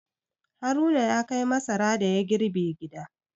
Haruna ya kai masara da ya girbe gida.